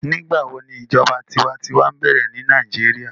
Nigbawo ni ijọba tiwantiwa bẹrẹ ni Nigeria?